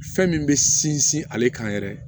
Fɛn min bɛ sinsin ale kan yɛrɛ